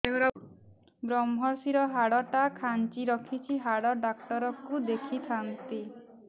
ଵ୍ରମଶିର ହାଡ଼ ଟା ଖାନ୍ଚି ରଖିଛି ହାଡ଼ ଡାକ୍ତର କୁ ଦେଖିଥାନ୍ତି